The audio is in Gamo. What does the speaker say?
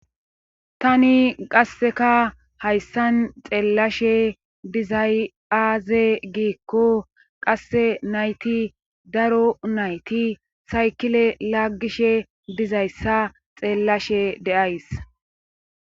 Tani qasseka hayssan xeellashe bizayaze giikko qasse nayti daro nayti saykile laaggishe bizayssa xeellashe deays.